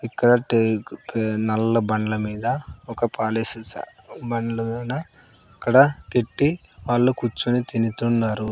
ఇక్కడ టేక్ నల్ల బండ్ల మీద ఒక పాలిష్ బండ్లు ఇడా ఇక్కడ పెట్టి వాళ్ళు కూర్చుని తింటున్నారు.